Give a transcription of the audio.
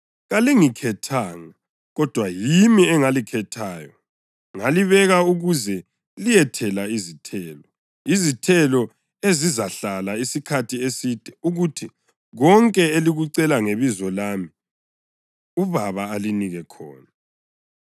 Kalingikhethanga, kodwa yimi engalikhethayo, ngalibeka ukuze liyethela izithelo, izithelo ezizahlala isikhathi eside ukuze kuthi konke elikucela ngebizo lami uBaba alinike khona.